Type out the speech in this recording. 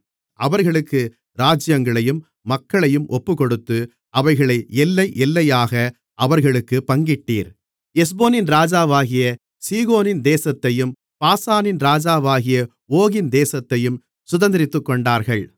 அவர்களுக்கு ராஜ்ஜியங்களையும் மக்களையும் ஒப்புக்கொடுத்து அவைகளை எல்லை எல்லையாக அவர்களுக்குப் பங்கிட்டீர் எஸ்போனின் ராஜாவாகிய சீகோனின் தேசத்தையும் பாசானின் ராஜாவாகிய ஓகின் தேசத்தையும் சுதந்தரித்துக்கொண்டார்கள்